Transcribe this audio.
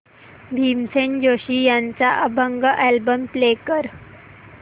भीमसेन जोशी यांचा अभंग album play कर